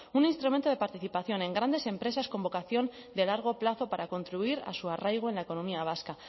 un instrumento de participación en grandes empresas con vocación de largo plazo para contribuir a su arraigo en la economía vasca